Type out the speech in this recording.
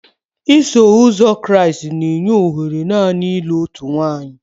Iso Ụzọ Kraịst na-enye ohere naanị ịlụ otu nwanyị.